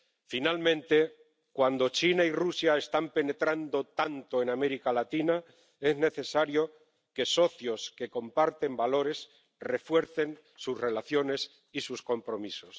Finalmente, cuando China y Rusia están penetrando tanto en América Latina, es necesario que socios que comparten valores refuercen sus relaciones y sus compromisos.